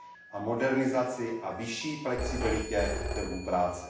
a modernizaci a vyšší flexibilitě trhů práce.